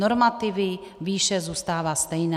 Normativy, výše zůstává stejná.